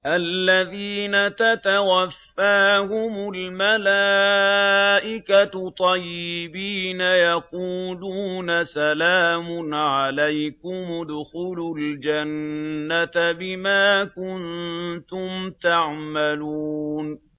الَّذِينَ تَتَوَفَّاهُمُ الْمَلَائِكَةُ طَيِّبِينَ ۙ يَقُولُونَ سَلَامٌ عَلَيْكُمُ ادْخُلُوا الْجَنَّةَ بِمَا كُنتُمْ تَعْمَلُونَ